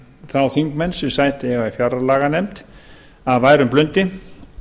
þá þingmenn sem sæti eiga í fjárlaganefnd af værum blundi